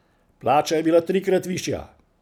Plača je bila trikrat višja.